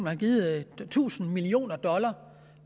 har givet tusind millioner dollar